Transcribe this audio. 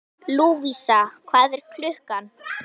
Lúvísa, hvað er klukkan?